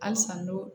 Halisa n'o